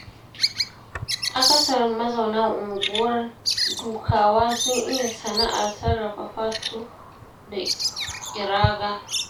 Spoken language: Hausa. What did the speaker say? Akasarin mazauna unguwar Dukawa sun iya sana'ar sarrafa fatu da ƙiraga.